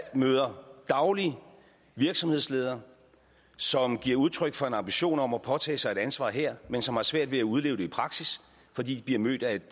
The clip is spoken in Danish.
møder dagligt virksomhedsledere som giver udtryk for en ambition om at påtage sig et ansvar her men som har svært ved at udleve det i praksis fordi de bliver mødt af et